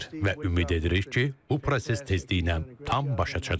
Və ümid edirik ki, bu proses tezliklə tam başa çatacaq.